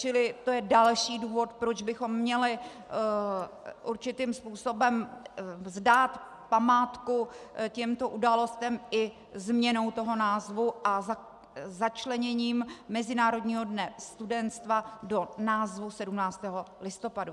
Čili to je další důvod, proč bychom měli určitým způsobem vzdát památku těmto událostem i změnou toho názvu a začleněním mezinárodního dne studenstva do názvu 17. listopadu.